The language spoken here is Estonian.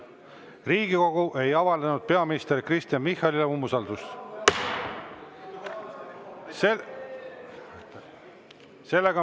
Riigikogu ei avaldanud peaminister Kristen Michalile umbusaldust.